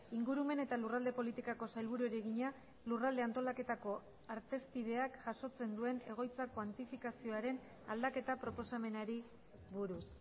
ingurumen eta lurralde politikako sailburuari egina lurralde antolaketako artezpideak jasotzen duen egoitza kuantifikazioaren aldaketa proposamenari buruz